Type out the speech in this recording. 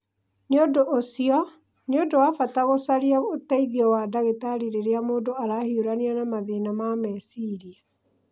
Nĩ ũndũ ũcio, nĩ ũndũ wa bata gũcaria ũteithio wa ndagĩtarĩ rĩrĩa mũndũ arahiũrania na mathĩna ma meciria.